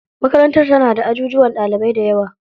Makarantar tana da ajujuwan ɗalibai dayawa.